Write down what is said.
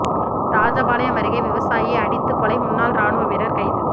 ராஜபாளையம் அருகே விவசாயி அடித்துக் கொலை முன்னாள் ராணுவ வீரா் கைது